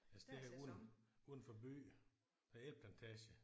Altså det her er uden udenfor by der er æbleplantage